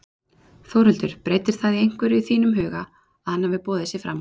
Þórhildur: Breytir það einhverju í þínum huga að hann hafi boðið sig fram?